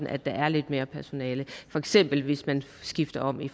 er der lidt mere personale for eksempel hvis man skifter om i